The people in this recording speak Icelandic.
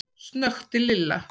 snökti Lilla.